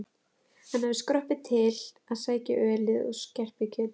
Hann hafði skroppið til að sækja ölið og skerpikjötið.